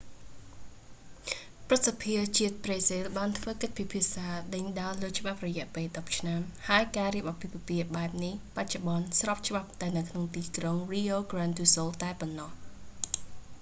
ព្រឹទ្ធសភាជាតិប្រេស៊ីល បានធ្វើកិច្ចពិភាក្សាដេញដោលលើច្បាប់រយៈពេល 10 ឆ្នាំ ហើយការរៀបអាពាហ៍ពិពាហ៍បែបនេះ បច្ចុប្បន្នស្របច្បាប់តែនៅក្នុងទីក្រុង rio grande do sul តែប៉ុណ្ណោះ